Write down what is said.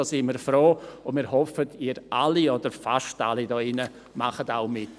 Darüber sind wir froh, und wir hoffen, Sie alle hier – oder fast alle – machen auch mit.